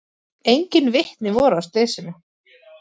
Engin vitni voru að slysinu